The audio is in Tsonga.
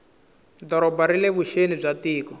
doroba rile vuxeni bya tiko